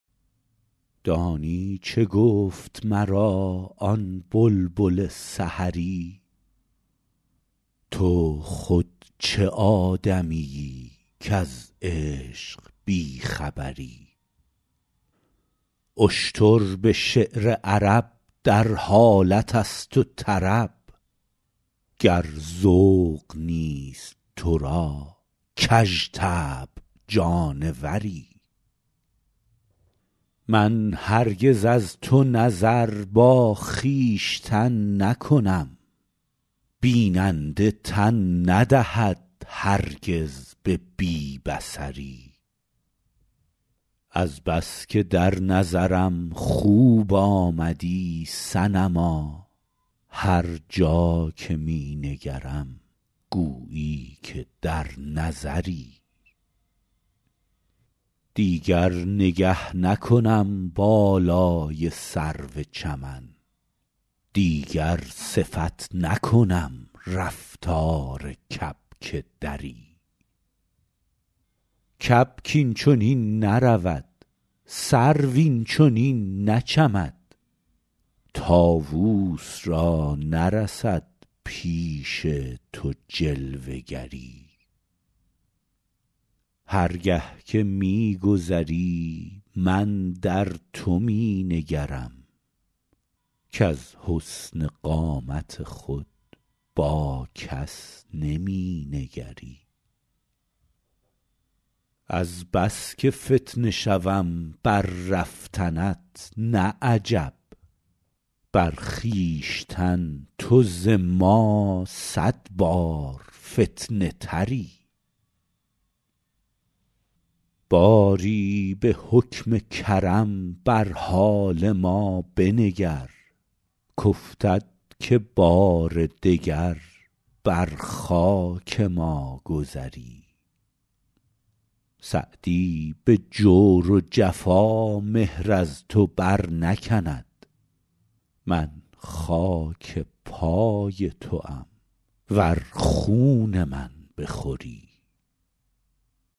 دانی چه گفت مرا آن بلبل سحری تو خود چه آدمیی کز عشق بی خبری اشتر به شعر عرب در حالت است و طرب گر ذوق نیست تو را کژطبع جانوری من هرگز از تو نظر با خویشتن نکنم بیننده تن ندهد هرگز به بی بصری از بس که در نظرم خوب آمدی صنما هر جا که می نگرم گویی که در نظری دیگر نگه نکنم بالای سرو چمن دیگر صفت نکنم رفتار کبک دری کبک این چنین نرود سرو این چنین نچمد طاووس را نرسد پیش تو جلوه گری هر گه که می گذری من در تو می نگرم کز حسن قامت خود با کس نمی نگری از بس که فتنه شوم بر رفتنت نه عجب بر خویشتن تو ز ما صد بار فتنه تری باری به حکم کرم بر حال ما بنگر کافتد که بار دگر بر خاک ما گذری سعدی به جور و جفا مهر از تو برنکند من خاک پای توام ور خون من بخوری